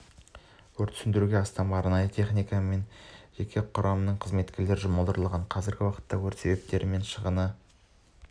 өртті сөндіруге астам арнайы техника мен жеке құрамның қызметкері жұмылдырылған қазіргі уақытта өрт себептері мен шығыны